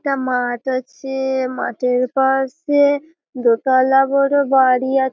একটা মাঠ আছে-আ মাঠের পাশে দোতালা বড় বাড়ি আ--